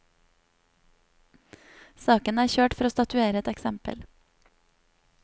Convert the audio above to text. Saken er kjørt for å statuere et eksempel.